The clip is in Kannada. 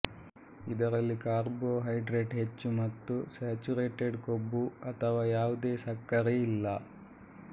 ಇದರಲ್ಲಿ ಕಾರ್ಬೋಹೈಡ್ರೇಟ್ ಹೆಚ್ಚು ಮತ್ತು ಸ್ಯಾಚುರೇಟೆಡ್ ಕೊಬ್ಬು ಅಥವಾ ಯಾವುದೇ ಸಕ್ಕರೆ ಇಲ್ಲ